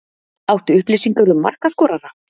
Áttu upplýsingar um markaskorara?